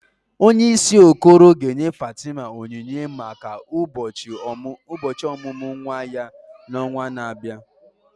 Onyeisi Okoro ga-enye Fatima onyinye maka ụbọchị ọmụmụ nwa ya n'ọnwa na-abịa.